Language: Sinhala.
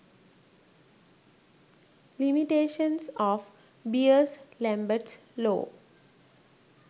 limitations of beers lamberts law